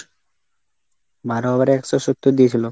বারো over এ একশো সত্তর দিয়েছিল?